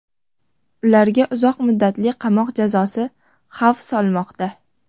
Ularga uzoq muddatli qamoq jazosi xavf solmoqda.